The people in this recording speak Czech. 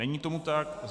Není tomu tak.